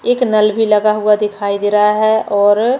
एक नल भी लगा हुआ दिखाई दे रहा है और --